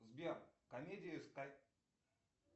сбер комедии